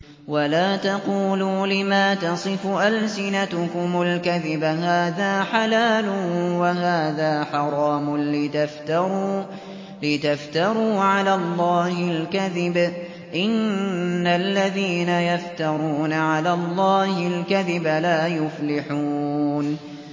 وَلَا تَقُولُوا لِمَا تَصِفُ أَلْسِنَتُكُمُ الْكَذِبَ هَٰذَا حَلَالٌ وَهَٰذَا حَرَامٌ لِّتَفْتَرُوا عَلَى اللَّهِ الْكَذِبَ ۚ إِنَّ الَّذِينَ يَفْتَرُونَ عَلَى اللَّهِ الْكَذِبَ لَا يُفْلِحُونَ